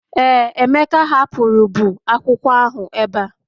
Ee, Emeka hapụrụ bụ akwụkwọ ahụ ebe a